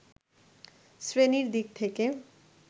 শ্রেণির দিক থেকে